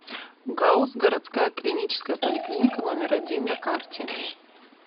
гауз городская клиническая поликлиника номер один на карте